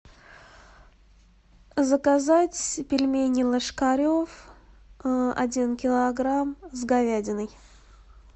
заказать пельмени ложкарев один килограмм с говядиной